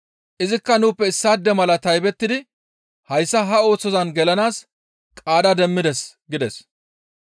Izikka nuuppe issaade mala taybettidi hayssa ha oosozan gelanaas qaada demmides» gides.